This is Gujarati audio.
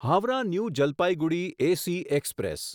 Howrah new Jalpaiguri AC express